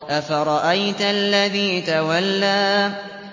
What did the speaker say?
أَفَرَأَيْتَ الَّذِي تَوَلَّىٰ